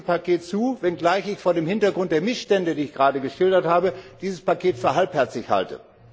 Ich stimme diesem Paket zu, wenngleich ich vor dem Hintergrund der Missstände, die ich gerade geschildert habe, dieses Paket für halbherzig halte.